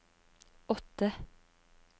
åtte